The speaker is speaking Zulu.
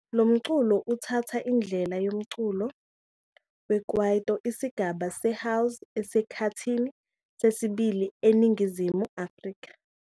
Lo mculo uthatha indlela yomculo we-kwaito, isigaba se-house esikhathini sesibili eNingizimu Afrika.